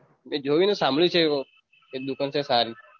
મેં જોઈ નઈ સાંભળ્યું છે એક દુકાન છે સારી